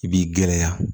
I b'i gɛlɛya